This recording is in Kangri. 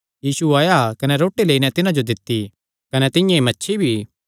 यीशु आया कने रोटी लेई नैं तिन्हां जो दित्ती कने तिंआं ई मच्छी भी